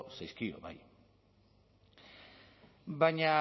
zaizkio bai baina